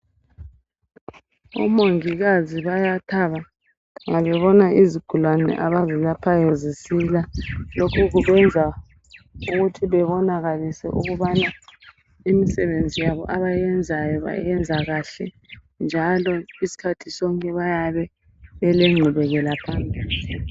Omongikazi bayathaba nxa bebona izigulane abazelaphayo zisila. Lokhu kubenza ukuthi bebonakalise ukubana imisebenzi yabo abayenzayo bayenza kuhle njalo isikhathi sonke bayabe belengqubekela phambili.